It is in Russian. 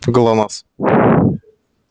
глонассс